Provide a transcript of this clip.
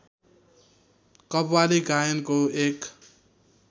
कव्वाली गायनको एक